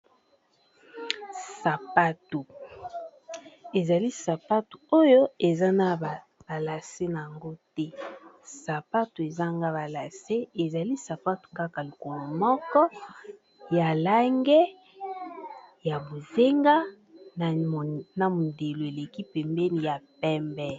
ezali sapato oyo eza na balase nayango te sapato ezanga balase ezali sapato kaka lokolo moko ya langi ya mai ya pondu na pembe.